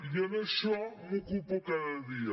i en això m’ocupo cada dia